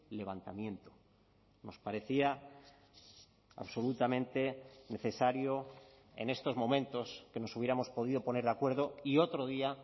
levantamiento nos parecía absolutamente necesario en estos momentos que nos hubiéramos podido poner de acuerdo y otro día